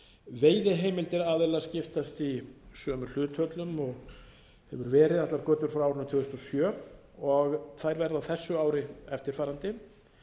veiðiheimildir aðila skiptast í sömu hlutföllum og verið hefur allar götur frá árinu tvö þúsund og sjö og þær verða á þessu ári eftirfarandi